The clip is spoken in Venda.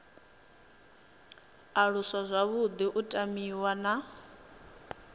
aluswa zwavhuḓi u tamiwa na